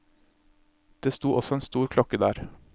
Det sto også en stor klokke der.